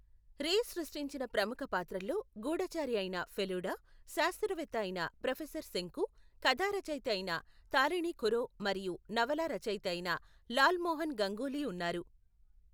రే సృష్టించిన ప్రముఖ పాత్రల్లో గూఢచారి అయిన ఫెలుడా, శాస్త్రవేత్త అయిన ప్రొఫెసర్ శంకు, కథారచయిత అయిన తారిణి ఖురో మరియు నవలా రచయిత అయిన లాల్మోహన్ గంగూలీ ఉన్నారు.